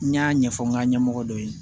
N y'a ɲɛfɔ n ka ɲɛmɔgɔ dɔ ye